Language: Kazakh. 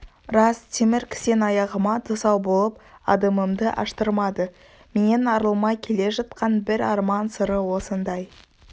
рас темір кісен аяғыма тұсау болып адымымды аштырмады менен арылмай келе жатқан бір арман сыры осындай